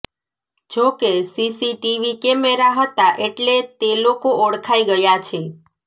જો કે CCTV camera હતા એટલે તે લોકો ઓળખાઈ ગયા છે